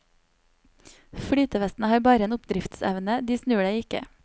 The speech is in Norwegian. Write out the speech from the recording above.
Flytevestene har bare en oppdriftsevne, de snur deg ikke.